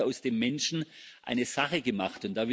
Man hat also aus dem Menschen eine Sache gemacht.